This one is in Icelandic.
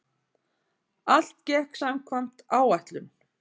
Allt gekk samkvæmt áætlun